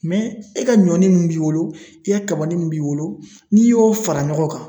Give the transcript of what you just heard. e ka ɲɔnin mun b'i bolo, i ka kabanin mun b'i bolo, n'i y'o fara ɲɔgɔn kan